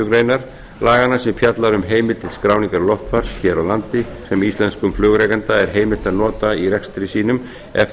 grein laganna sem fjalla um heimildir til skráningar loftfars hér á landi sem íslenskum flugrekanda er heimilt að nota í rekstri sínum ef